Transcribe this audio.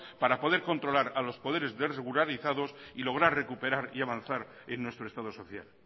para poder controlar a los poderes desregularizados y lograr recuperar y avanzar en nuestro estado social